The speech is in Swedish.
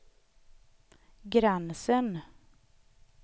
gränsen